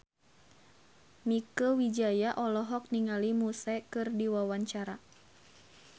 Mieke Wijaya olohok ningali Muse keur diwawancara